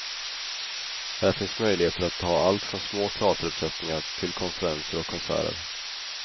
Här finns möjligheter att ha allt från små teateruppsättningar till konferenser och konserter.